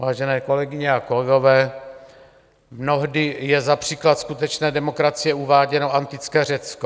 Vážené kolegyně a kolegové, mnohdy je za příklad skutečné demokracie uváděno antické Řecko.